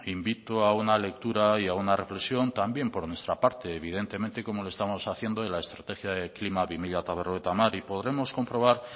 invito a una lectura y a una reflexión también por nuestra parte evidentemente como lo estamos haciendo en la estrategia de klima dos mil cincuenta y podremos comprobar